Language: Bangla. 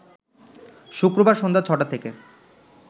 শুক্রবার সন্ধ্যা ছ’টা থেকে